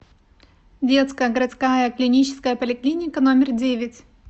детская городская клиническая поликлиника номер девять